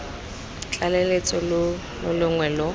tlaleletso lo lo longwe lo